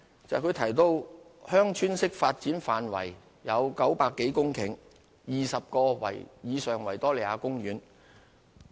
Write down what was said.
因為他提到"鄉村式發展"範圍有900多公頃，面積大約為50個維多利亞公園。